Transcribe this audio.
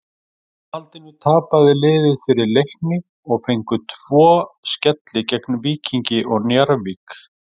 Í framhaldinu tapaði liðið fyrir Leikni og fengu tvo skelli gegn Víkingi og Njarðvík.